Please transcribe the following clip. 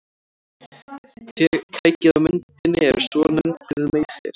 Tækið á myndinni er svonefndur meysir.